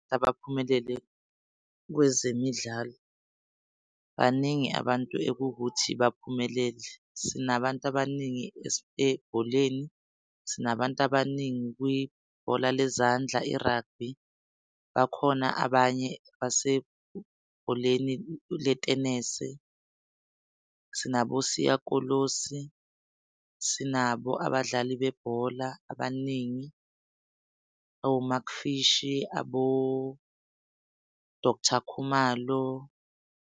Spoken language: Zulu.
Abaphumelele kwezemidlalo baningi abantu ekuwukuthi baphumelele, sinabantu abaningi ebholeni, sinabantu abaningi kwibhola lezandla i-rugby. Bakhona abanye basebholeni letenese. Sinabo Siya Kolosi, sinabo abadlali bebhola abaningi oMark Fishi aboDoctor Khumalo.